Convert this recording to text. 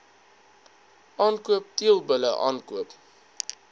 aankoop teelbulle aankoop